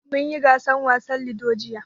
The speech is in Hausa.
Mun yi gasar wasan Ludo, jiya.